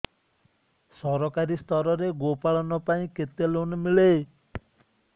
ସରକାରୀ ସ୍ତରରେ ଗୋ ପାଳନ ପାଇଁ କେତେ ଲୋନ୍ ମିଳେ